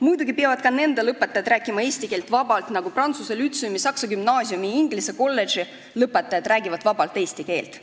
Muidugi peavad ka nende lõpetajad rääkima eesti keelt vabalt, nagu Tallinna Prantsuse Lütseumi, Tallinna Saksa Gümnaasiumi ja Tallinna Inglise Kolledži lõpetajad räägivad vabalt eesti keelt.